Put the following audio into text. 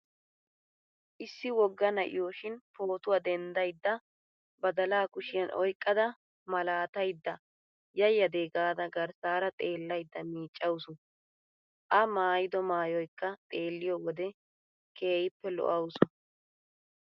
Issi wogga na'iyoshin pootuwa dendsaydda badalaa kushiyan oyqqada malaataydda yayyade gaada garssaara xeellaydda miiccawusu! A maayido maayoykka xeelliyo wode keehippe lo'awusu!